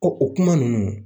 Ko o kuma nunnu.